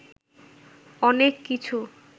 অনেক কিছু